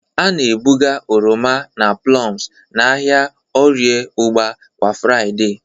A na-ebuga oroma na plums n'ahịa Orie ugba kwa Fraịde.